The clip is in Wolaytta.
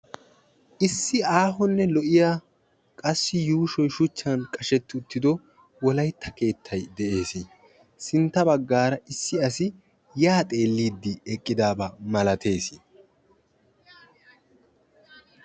Heidi’s didn’t irises Didier Irish odor odors